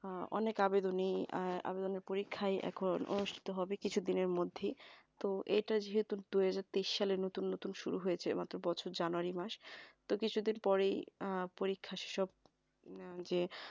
অনেক আবেদনীয় আবেদনের পরীক্ষায় অনুষ্ঠিত হবে কিছুদিনের মধ্যেই তো এটা যেহেতু দুইহাজার তেইশ সালে নতুন নতুন শুরু হয়েছে মাত্র বছর জানুয়ারি মাস তো কিছুদিন পরে পরীক্ষার সব যে